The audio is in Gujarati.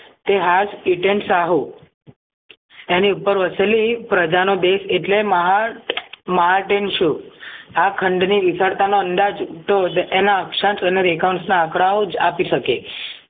તેહાજ ઇટેનશાહુ એની ઉપર વસેલી લઈ પ્રજાનો દેશ એટલે મહાન માર્ટિન શુ આ ખંડની વિશળતાના અંદાજ ઉદ્ભવ એના સન્ત અને રેખાંશ ના આંકડાઓ જ આપી શકે